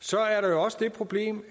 så er der jo også det problem